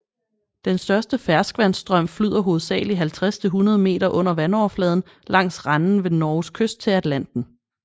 Den største ferskvandsstrøm flyder hovedsagelig 50 til 100 meter under vandoverfladen langs renden ved Norges kyst til Atlanten